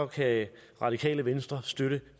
kan radikale venstre støtte